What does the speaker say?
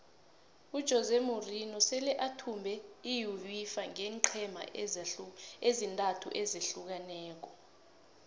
ujose morinho sele athumbe iuefa ngeenqhema ezintathu ezahlukeneko